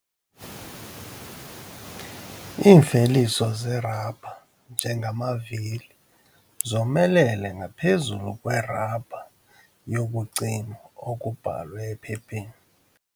Iimveliso zerabha njengamavili zomelele ngaphezu kwerabha yokucima okubhalwe ephepheni.